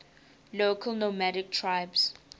local nomadic tribes